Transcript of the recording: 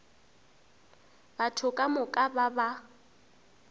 batho ka moka ba ba